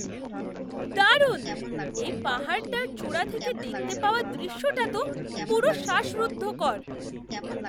দারুণ! এই পাহাড়টার চূড়া থেকে দেখতে পাওয়া দৃশ্যটা তো পুরো শ্বাসরুদ্ধকর!